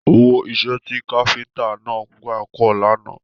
Owó iṣẹ́ ti káfíntà náà gbà pọ̀ lánàá.